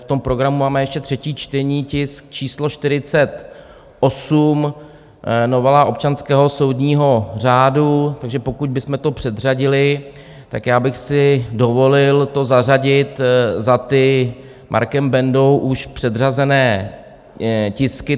V tom programu máme ještě třetí čtení tisku číslo 48, novela občanského soudního řádu, takže pokud bychom to předřadili, tak já bych si dovolil to zařadit za ty Markem Bendou už předřazené tisky.